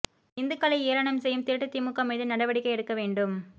இந்துக்களை ஏளனம் செய்யும் திருட்டு திமுக மீது நடவடிக்கை எடுக்க வேண்டும்